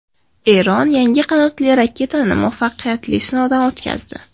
Eron yangi qanotli raketani muvaffaqiyatli sinovdan o‘tkazdi.